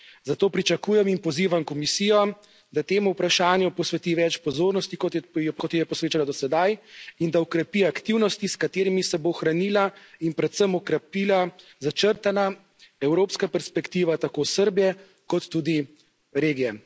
Zato pričakujem in pozivam Komisijo, da tem vprašanjem posveti več pozornosti, kot je posvečala do sedaj, in da okrepi aktivnosti, s katerimi se bo ohranila in predvsem okrepila začrtana evropska perspektiva tako Srbije kot tudi regije.